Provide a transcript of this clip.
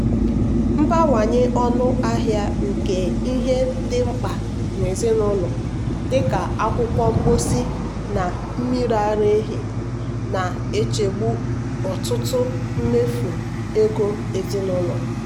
mbawanye ọnụ ahịa nke ihe ndị dị mkpa n'ụlọ dị ka akwụkwọ mposi na mmiri ara ehi na-echegbu ọtụtụ mmefu ego ezinụlọ.